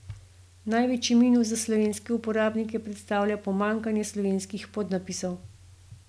Največji minus za slovenske uporabnike predstavlja pomanjkanje slovenskih podnapisov.